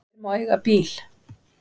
Hver má eiga bíl?